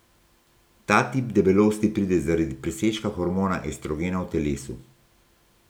Ta tip debelosti pride zaradi presežka hormona estrogena v telesu.